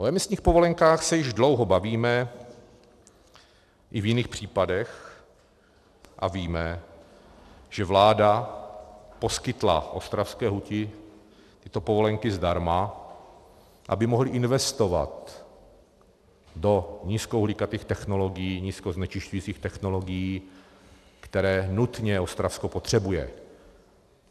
O emisních povolenkách se již dlouho bavíme i v jiných případech a víme, že vláda poskytla ostravské huti tyto povolenky zdarma, aby mohli investovat do nízkouhlíkatých technologií, nízkoznečišťujících technologií, které nutně Ostravsko potřebuje.